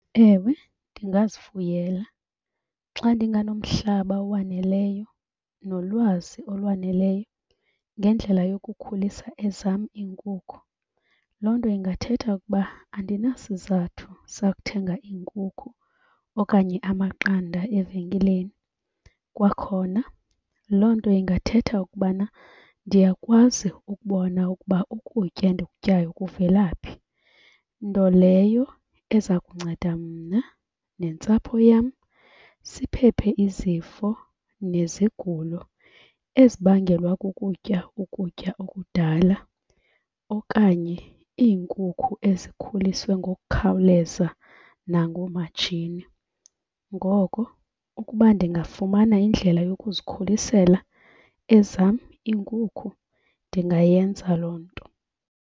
Ewe, ndingazifuyela xa ndinganomhlaba owaneleyo nolwazi olwaneleyo ngendlela yokukhulisa ezam iinkukhu. Loo nto ingathetha ukuba andinasizathu sakuthenga iinkukhu okanye amaqanda evenkileni. Kwakhona loo nto ingathetha ukubana ndiyakwazi ukubona ukuba ukutya endikutyayo kuvela phi, nto leyo eza kunceda mna nentsapho yam siphephe izifo nezigulo ezibangelwa kukutya ukutya okudala okanye iinkukhu ezikhuliswe ngokukhawuleza nangoomatshini. Ngoko ukuba ndingafumana indlela yokuzikhulisela ezam iinkukhu ndingayenza loo nto.